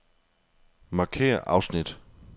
Markér afsnit.